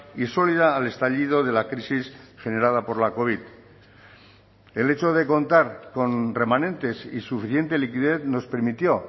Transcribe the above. y sólida al estallido de la crisis generada por la covid el hecho de contar con remanentes y suficiente liquidez nos permitió